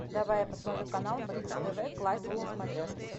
давай я посмотрю канал бридж тв классик на смотрешке